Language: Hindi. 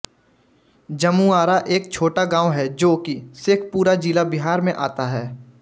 जमूआरा एक छोटा गांव हैं जो की शेखपुरा ज़िला बिहार में आता है